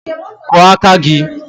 Kụọ aka gị!